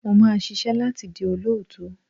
Mo máa ṣisẹ́ láti di olóòtú.